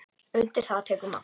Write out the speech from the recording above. Undir það tekur Magnús.